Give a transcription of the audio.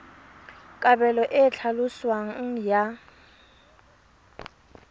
kabelo e e tlhaloswang ya